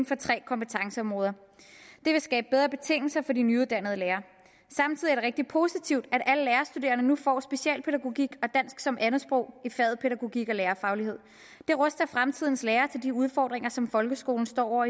for tre kompetenceområder det vil skabe bedre betingelser for de nyuddannede lærere samtidig er det rigtig positivt at alle lærerstuderende nu får specialpædagogik og dansk som andetsprog i faget pædagogik og lærerfaglighed det ruster fremtidens lærere til de udfordringer som folkeskolen står